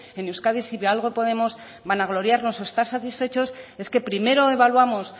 en euskadi si de algo podemos vanagloriarnos o estar satisfechos es que primero evaluamos